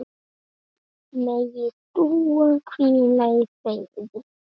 Megi Dúa hvíla í friði.